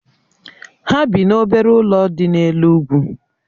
Ha bị n'obere ụlọ dị n'elu úgwù